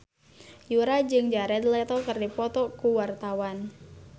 Yura jeung Jared Leto keur dipoto ku wartawan